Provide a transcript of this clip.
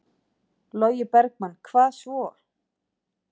Logi Bergmann: Hvað svo?